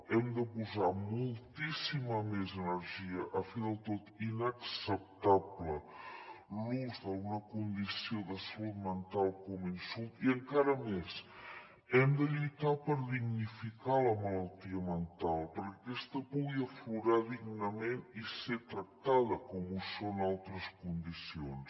hem de posar moltíssima més energia a fer del tot inacceptable l’ús d’alguna condició de salut mental com a insult i encara més hem de lluitar per dignificar la malaltia mental perquè aquesta pugui aflorar dignament i ser tractada com ho són altres condicions